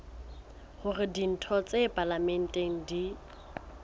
hore ditho tsa palamente di